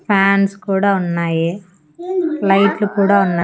fans కూడా ఉన్నాయి లైట్లు కూడా ఉన్న--